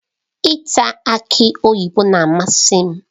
Ịta aki oyibo na-amasị m.